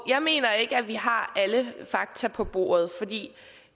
jeg mener ikke at vi har alle fakta på bordet